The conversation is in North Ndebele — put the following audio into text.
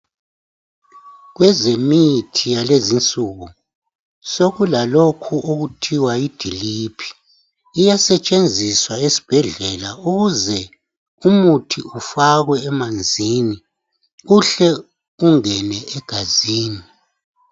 Kwezemithi yalezonsuku sokulalokhu okuthwa yi drip iyasetshenziswa esibhedlela ukuze umuthi ufakwe emanzini uhle ungene egazini.